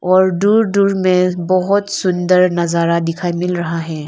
और दूर दूर में बहोत सुंदर नजारा दिखाई मिल रहा है।